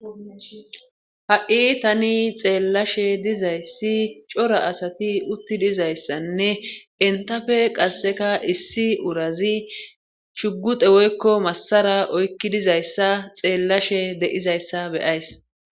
Ha'i tani xeellashe dizayssi cora asati uttidizayssanne entafe qasseka issi urazi shugute woykko massara oykkidizayssa xeellashe de'izayssa beyays.